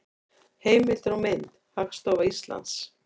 Heimildir og mynd: Hagstofa Íslands.